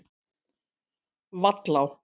Vallá